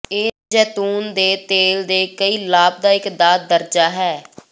ਇਹ ਜੈਤੂਨ ਦੇ ਤੇਲ ਦੇ ਕਈ ਲਾਭਦਾਇਕ ਦਾ ਦਰਜਾ ਹੈ